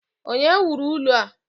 Onye wuru ụlọ a?